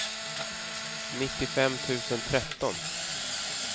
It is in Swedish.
nittiofem tusen tretton